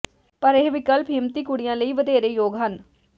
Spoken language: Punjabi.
ਪਰ ਇਹ ਵਿਕਲਪ ਹਿੰਮਤੀ ਕੁੜੀਆਂ ਲਈ ਵਧੇਰੇ ਯੋਗ ਹਨ